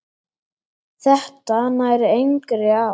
Þetta nær engri átt.